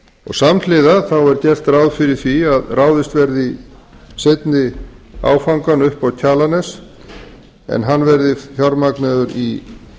og samhliða er gert ráð fyrir því að ráðist verði í seinni áfangann upp á kjalarnes en hann verði fjármagnaður í